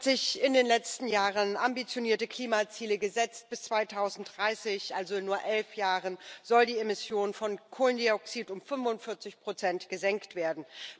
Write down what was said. Die EU hat sich in den letzten Jahren ambitionierte Klimaziele gesetzt. Bis 2030 also in nur elf Jahren soll die Emission von Kohlendioxid um 45 gesenkt werden.